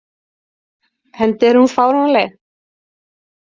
Enda er hún fáránleg.